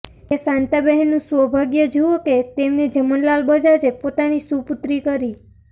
એ શાંતાબહેનનું સૌભાગ્ય જુઓ કે તેમને જમનાલાલ બજાજે પોતાની સુપુત્રી કરી